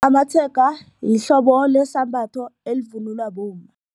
Amatshega yihlobo lesambatho elivunulwa bomma.